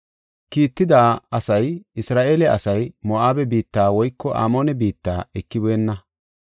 Kiitetida asay, “Isra7eele asay Moo7abe biitta woyko Amoone biitta ekibeenna.